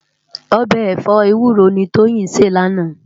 Òbè ẹfọ éwúró ni Toyin sé làná